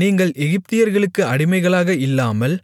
நீங்கள் எகிப்தியர்களுக்கு அடிமைகளாக இல்லாமல்